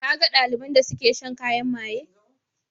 Ka ga ɗaliban da suke shan kayan maye?